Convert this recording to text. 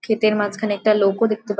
ক্ষেতের মাঝখানে একটা লোকো ও দেখতে পারছি।